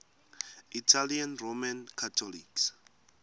italian roman catholics